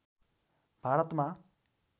भारतमा